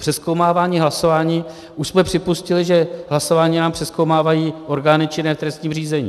Přezkoumávání hlasování - už jsme připustili, že hlasování nám přezkoumávají orgány činné v trestním řízení.